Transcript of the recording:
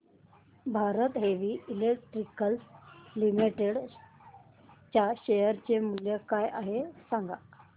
Bharat Heavy Electricals Limited च्या share चे मूल्य काय आहे सांगा